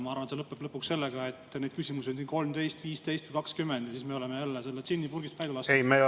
Ma arvan, et see lõpeb lõpuks sellega, et neid küsimusi on siin 13, 15 või 20, ja siis me oleme jälle selle džinni purgist välja lasknud.